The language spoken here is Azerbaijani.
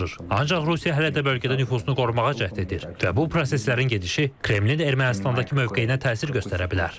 Ancaq Rusiya hələ də bölgədə nüfuzunu qorumağa cəhd edir və bu proseslərin gedişi Kremlin Ermənistandakı mövqeyinə təsir göstərə bilər.